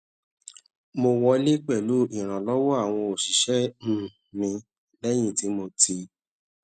mo wọlé pèlú ìrànlówó àwọn òṣìṣé um mi léyìn tí mo ti